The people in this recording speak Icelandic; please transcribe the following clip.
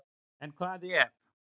En hvað ef?